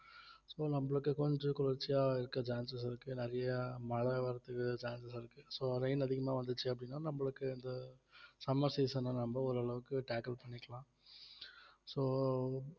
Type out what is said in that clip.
so நம்மளுக்கு கொஞ்சம் குளிர்ச்சியா இருக்க chances இருக்கு நிறையா மழ வர்றதுக்கு chances இருக்கு so rain அதிகமா வந்துச்சு அப்படின்னா நம்மளுக்கு இந்த summer season அ நம்ம ஓரளவுக்கு tackle பண்ணிக்கலாம் so